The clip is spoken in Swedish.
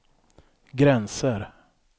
gränser